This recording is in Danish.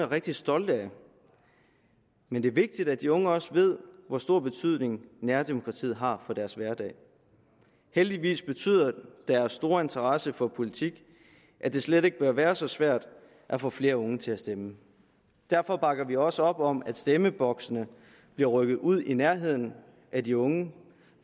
rigtig stolte af men det er vigtigt at de unge også ved hvor stor betydning nærdemokratiet har for deres hverdag heldigvis betyder deres store interesse for politik at det slet ikke bør være så svært at få flere unge til at stemme derfor bakker vi også op om at stemmeboksene bliver rykket ud i nærheden af de unge